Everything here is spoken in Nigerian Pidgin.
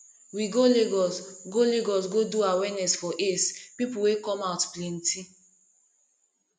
we go lagos go lagos go do awareness for aids people wey come out plenty